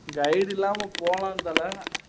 guide இல்லாம போலாம் தல